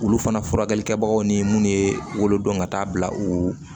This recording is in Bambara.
Olu fana furakɛli kɛbagaw ni munnu ye wolo dɔn ka taa bila u